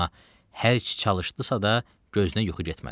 Amma hərçi çalışdısa da, gözünə yuxu getmədi.